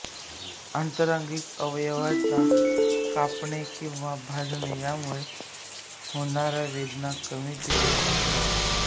आंतरांगिक अवयवाना कापणे किंवा भाजणे यामुळे होणाया वेदना कमी तीव्र असतात